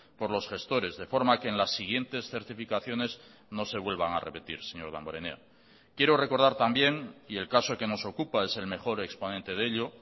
por los gestores de forma que en las siguientes certificaciones no se vuelvan a repetir señor damborenea quiero recordar también y el caso que nos ocupa es el mejor exponente de ello